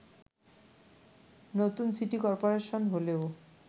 নতুন city corporation হলেও